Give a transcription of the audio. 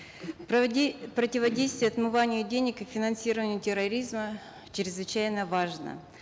противодействие отмыванию денег и финансированию терроризма чрезвычайно важно